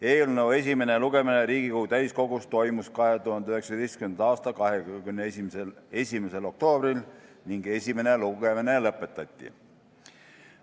Eelnõu esimene lugemine Riigikogu täiskogus toimus 2019. aasta 21. oktoobril ning esimene lugemine lõpetati.